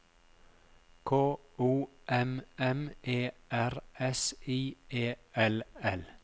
K O M M E R S I E L L